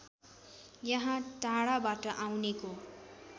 यहाँ टाढाबाट आउनेको